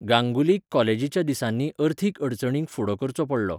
गांगुलीक कॉलेजीच्या दिसांनी अर्थीक अडचणींक फुडो करचो पडलो.